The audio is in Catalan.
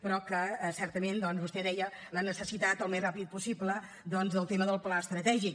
però certament vostè deia la necessitat al més ràpid possible del tema del pla estratègic